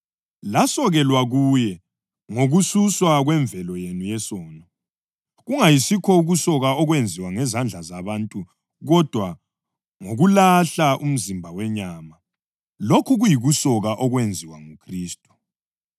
Lasokelwa kuye ngokususwa kwemvelo yenu yesono, kungayisikho ngokusoka okwenziwa ngezandla zabantu kodwa ngokulahla umzimba wenyama, lokhu kuyikusoka okwenziwa nguKhristu